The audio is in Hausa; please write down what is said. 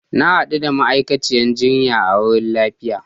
Na hadu da ma'aikaciyar jinya a wurin liyafar